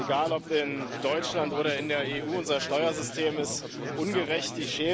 Egal ob in Deutschland oder in der EU, unser Steuersystem ist ungerecht.